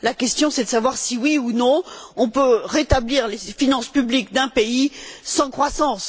La question est de savoir si oui ou non on peut rétablir les finances publiques d'un pays sans croissance.